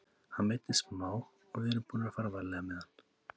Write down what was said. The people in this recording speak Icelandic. Hann meiddist smá og við erum búnir að fara varlega með hann.